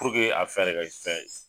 a fɛn de ka fɛn ye.